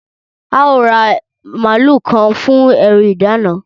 Ẹ óò ra màlúù kan fún ẹrù ìdána!